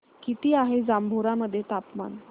किती आहे जांभोरा मध्ये तापमान